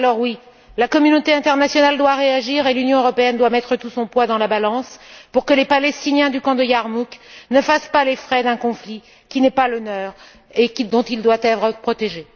Oui, la communauté internationale doit réagir, et l'Union européenne doit mettre tout son poids dans la balance pour que les Palestiniens du camp de Yarmouk ne fassent pas les frais d'un conflit qui n'est pas le leur et dont ils doivent être protégés.